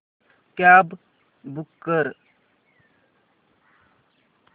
cab book कर